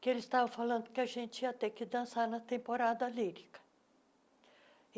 que eles estavam falando que a gente ia ter que dançar na temporada lírica.